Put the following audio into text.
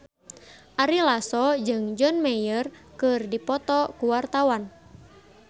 Ari Lasso jeung John Mayer keur dipoto ku wartawan